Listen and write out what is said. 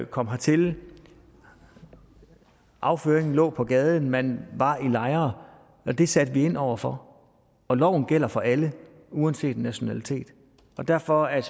kom hertil afføring lå på gaden man var i lejre det satte vi ind over for og loven gælder for alle uanset nationalitet derfor er